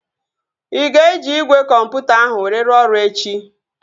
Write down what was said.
Ị ga-eji igwe kọmputa ahụ were rụọ ọrụ echi?